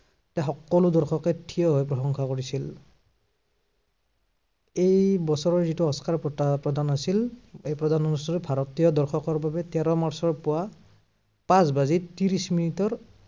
এই সকলো দৰ্শকে ঠিয় হৈ প্ৰশংসা কৰিছিল। এই বছৰৰ যিটো অস্কাৰ বঁটা প্ৰদান আছিল, এই প্ৰদান অনুষ্ঠানটো ভাৰতীয় দৰ্শকৰ বাবে তেৰ মাৰ্চৰ পুৱা, পাঁচ বাজি ত্ৰিশ মিনিটৰ